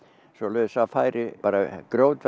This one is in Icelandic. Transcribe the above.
svoleiðis að færi